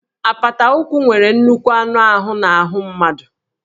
Apata ụkwụ nwere nnukwu anụ ahụ n'ahụ mmadụ